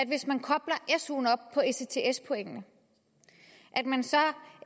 hvis man kobler suen op på ects pointene